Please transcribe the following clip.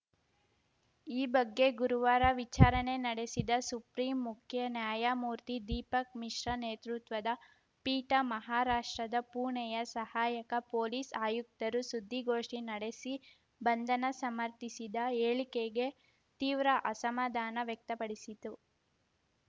ಈ ಬಗ್ಗೆ ಗುರುವಾರ ವಿಚಾರಣೆ ನಡೆಸಿದ ಸುಪ್ರಿಂ ಮುಖ್ಯ ನ್ಯಾಯಮೂರ್ತಿ ದೀಪಕ್‌ ಮಿಶ್ರಾ ನೇತೃತ್ವದ ಪೀಠ ಮಹಾರಾಷ್ಟ್ರದ ಪುಣೆಯ ಸಹಾಯಕ ಪೊಲೀಸ್‌ ಆಯುಕ್ತರು ಸುದ್ದಿಗೋಷ್ಠಿ ನಡೆಸಿ ಬಂಧನ ಸಮರ್ಥಿಸಿದ ಹೇಳಿಕೆಗೆ ತೀವ್ರ ಅಸಮಾಧಾನ ವ್ಯಕ್ತಪಡಿಸಿತು